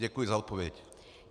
Děkuji za odpověď.